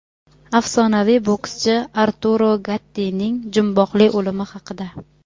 Afsonaviy bokschi Arturo Gattining jumboqli o‘limi haqida.